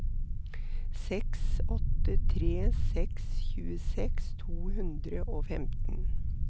seks åtte tre seks tjueseks to hundre og femten